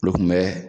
Olu kun bɛ